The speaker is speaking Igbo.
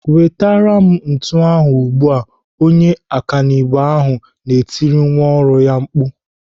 "wetere m ntu ahụ ugbu a!" Onye ọkanibo ahu na-etiri nwa ọrụ ya mkpu.